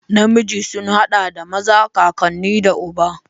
Namiji sun haɗa da maza, kakanni da uba.